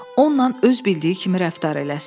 Onla öz bildiyi kimi rəftar eləsin.